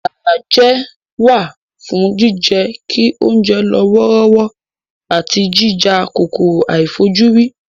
Isanaje wà fún jíjẹ́ kí oúnjẹ lọ wọ́rọ́wọ́ àti jíjà kòkòrò àìfojúrí